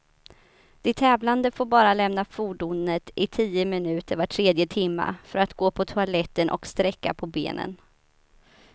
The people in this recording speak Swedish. De tävlande får bara lämna fordonet i tio minuter var tredje timme, för att gå på toaletten och sträcka på benen.